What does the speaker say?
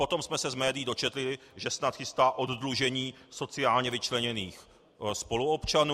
Potom jsme se z médií dočetli, že snad chystá oddlužení sociálně vyčleněných spoluobčanů.